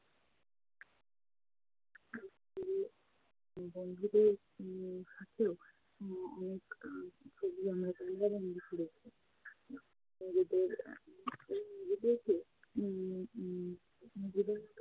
তো বন্ধুদের উম সাথেও অনেক ছবি আমরা নিজেদের~ নিজেদেরকে উম উম নিজেদের